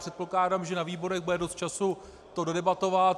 Předpokládám, že na výborech bude dost času to dodebatovat.